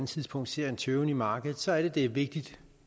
tidspunkt se en tøven i markedet så er det det er vigtigt